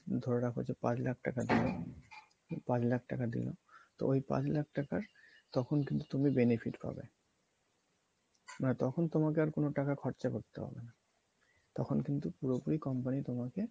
ধরে রাখো যে পাঁচ লাখ টাকা দিয়েছে পাঁচ লাখ টাকা দিয়ে তো ওই পাঁচ লাখ টাকার তখন কিন্তু তুমি benefit পাবে মানে তখন তোমাকে আর কোনো টাকা খরচা করতে হবে না তখন কিন্তু পুরোপুরি company তোমাকে